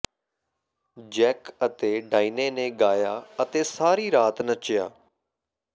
Jack ਅਤੇ Diane ਨੇ ਗਾਇਆ ਅਤੇ ਸਾਰੀ ਰਾਤ ਨੱਚਿਆ